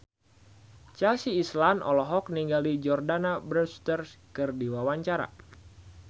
Chelsea Islan olohok ningali Jordana Brewster keur diwawancara